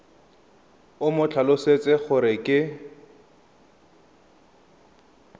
o mo tlhalosetse gore ke